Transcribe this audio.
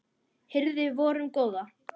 hirði vorum góða